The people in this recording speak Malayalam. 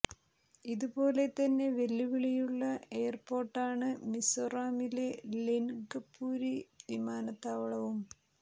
ഇത് പോലെ തന്നെ വെല്ലുവിളിയുള്ള എയര് പോര്ട്ടാണ് മിസോറാമിലെ ലെന്ഗപൂരി വിമാനതാവളവും